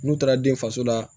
N'u taara den faso la